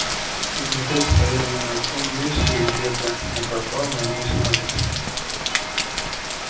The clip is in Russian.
они опять стояли на том месте где кто-то напал на миссис норрис